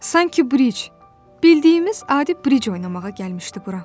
Sanki Briç, bildiyimiz adi Briç oynamağa gəlmişdi bura.